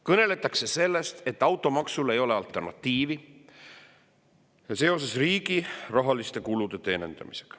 Kõneldakse sellest, et automaksule ei ole alternatiivi, on vaja riigi rahalisi kulusid katta.